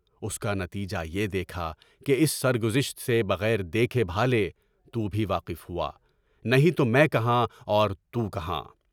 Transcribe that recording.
اُس کا نتیجہ یہ دیکھا کہ اس سرگزشت سے بغیر دیکھے بھالے تو بھی واقف ہوا، نہیں تو میں کہاں اور تُو کہاں؟